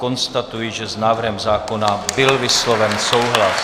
Konstatuji, že s návrhem zákona byl vysloven souhlas.